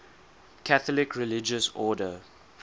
catholic religious order